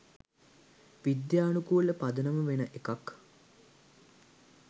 විද්‍යානුකූල පදනම වෙන එකක්.